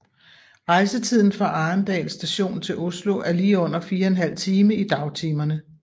Rejsetiden fra Arendal Station til Oslo er lige under 4½ time i dagtimerne